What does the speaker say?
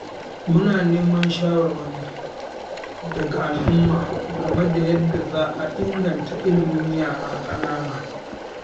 Muna neman shawarwari daga al’umma game da yadda za a inganta ilimin yara ƙanana.